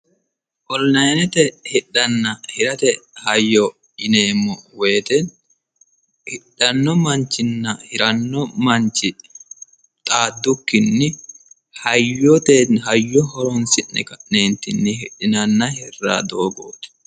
onilayinete hidhanna hirate hayyo yineemmo wote hidhanno manchinna hiranno manchi xaaddukkinni hayyo horonsi'ne hidhinanni hirranni doogooti.